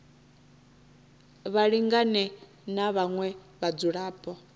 vha lingane na vhaṅwe vhadzulapo